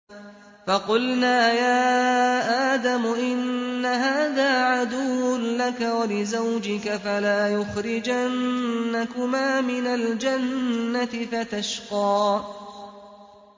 فَقُلْنَا يَا آدَمُ إِنَّ هَٰذَا عَدُوٌّ لَّكَ وَلِزَوْجِكَ فَلَا يُخْرِجَنَّكُمَا مِنَ الْجَنَّةِ فَتَشْقَىٰ